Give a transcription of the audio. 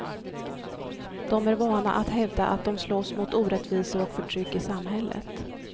De är vana att hävda att de slåss mot orättvisor och förtryck i samhället.